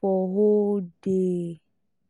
for whole day